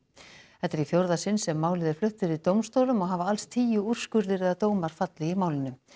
þetta er í fjórða sinn sem málið er flutt fyrir dómstólum og hafa alls tíu úrskurðir eða dómar fallið í málinu